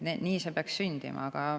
Nii see peaks sündima.